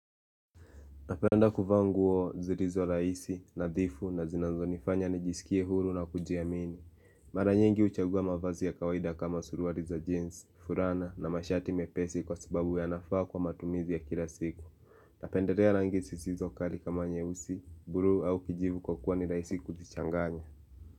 Napenda kuvaa nguo zirizo rahisi, nadhifu na zinazonifanya nijisikie huru na kujiamini. Mara nyingi huchagua mavazi ya kawaida kama suruari za jeans, furana na mashati mepesi kwa sababu ya nafaa kwa matumizi ya kila siku. Napenderea rangi sisizo kari kama nyeusi, buru au kijivu kwa kuwa ni rahisi kuzichanganya.